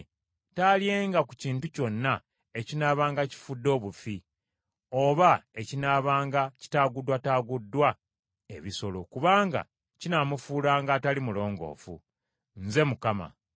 Taalyenga ku kintu kyonna ekinaabanga kifudde obufi, oba ekinaabanga kitaaguddwataaguddwa ebisolo, kubanga kinaamufuulanga atali mulongoofu. Nze Mukama .